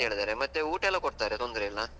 ಹೇಳಿದ್ದಾರೆ, ಮತ್ತೆ ಊಟ ಎಲ್ಲ ಕೊಡ್ತಾರೆ ತೊಂದ್ರೆ ಇಲ್ಲ.